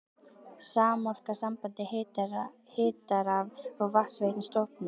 Samorka, samband hita-, raf- og vatnsveitna, stofnuð.